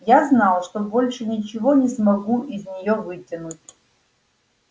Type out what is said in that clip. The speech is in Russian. я знал что больше ничего не смогу из неё вытянуть